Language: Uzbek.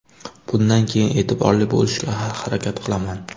Bundan keyin e’tiborli bo‘lishga harakat qilaman.